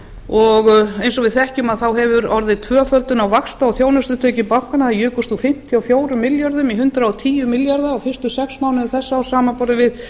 og eins og við þekkjum hefur orðið tvöföldun á vaxta og þjónustutekjum bankanna þær jukust úr fimmtíu og fjórum milljörðum í hundrað og tíu milljarða á fyrstu sex mánuðum þessa árs samanborið við